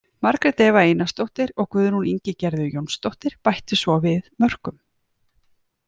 Margrét Eva Einarsdóttir og Guðrún Ingigerður Jónsdóttir bættu svo við mörkum.